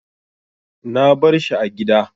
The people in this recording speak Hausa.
Na bar shi a gida.